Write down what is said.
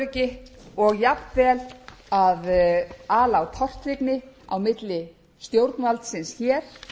óöryggi og jafnvel að ala á tortryggni á milli stjórnvaldsins hér þeirra sem setja